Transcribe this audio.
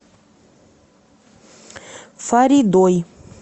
фаридой